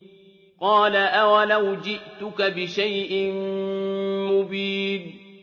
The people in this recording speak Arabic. قَالَ أَوَلَوْ جِئْتُكَ بِشَيْءٍ مُّبِينٍ